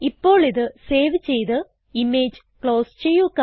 ഇപ്പോൾ ഇത് സേവ് ചെയ്ത് ഇമേജ് ക്ലോസ് ചെയ്യുക